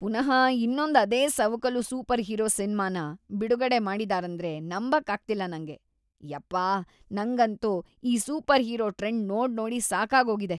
ಪುನಃ ಇನ್ನೊಂದ್ ಅದೇ ಸವಕಲು ಸೂಪರ್‌ಹೀರೋ ಸಿನ್ಮಾನ ಬಿಡುಗಡೆ ಮಾಡಿದಾರೇಂದ್ರೆ ನಂಬಕ್ಕಾಗ್ತಿಲ್ಲ ನಂಗೆ.. ಯಪ್ಪಾಹ್, ನಂಗಂತೂ ಈ ಸೂಪರ್‌ಹೀರೋ ಟ್ರೆಂಡ್‌ ನೋಡ್ನೋಡಿ ಸಾಕಾಗೋಗಿದೆ.‌